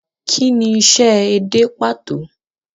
Kí ni isẹ́ edé pàtó?